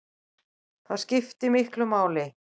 Það skiptir miklu máli